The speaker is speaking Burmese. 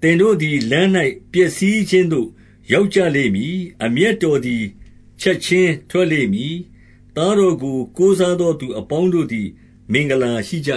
သင်တို့သည်လမ်း၌ ပျက်စီးခြင်းသို့ ရောက်ကြလိမ့်မည်။ အမျက်တော်သည် ချက်ခြင်းထွက်လိမ့်မည်။ သားတော်ကို ကိုးစားသောသူအပေါင်းတို့ သည် မင်္ဂလာရှိကြ